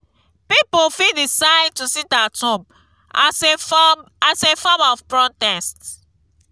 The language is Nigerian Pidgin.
pipo fit decide to sit at home as a form as a form of protest